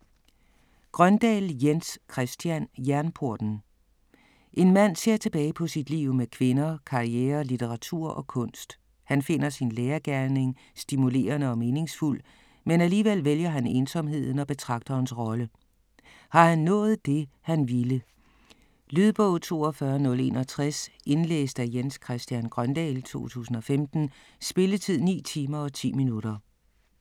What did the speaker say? Grøndahl, Jens Christian: Jernporten En mand ser tilbage på sit liv med kvinder, karriere, litteratur og kunst. Han finder sin lærergerning stimulerende og meningsfuld, men alligevel vælger han ensomheden og betragterens rolle. Har han nået det han ville? Lydbog 42061 Indlæst af Jens Christian Grøndahl, 2015. Spilletid: 9 timer, 10 minutter.